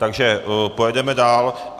Takže pojedeme dál.